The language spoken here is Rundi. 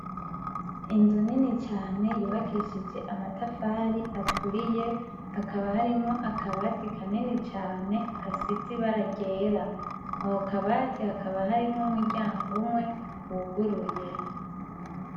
Inzu nini cane yubakishije amatafari aturiye, hakaba harimwo akabati kanini cane gasize ibara ryera. Ako ka bati kakaba gafise umuryango umwe wuguruye.